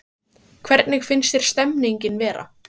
Hjördís Rut Sigurjónsdóttir: Hvernig finnst þér stemningin vera?